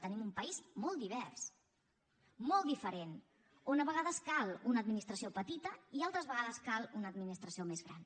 tenim un país molt divers molt diferent on a vegades cal una administració petita i altres vegades cal una administració més gran